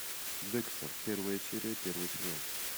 декстер первая серия первый сезон